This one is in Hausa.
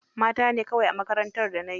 Mata ne kawai a makarantar da na yi.